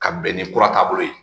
Ka bɛn ni kura taabolo ye